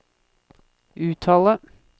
uttale